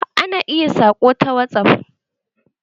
Ana iya saƙo ta whatsaff.